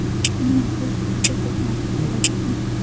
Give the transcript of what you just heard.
Nima, biz juda ko‘p narsa so‘radikmi?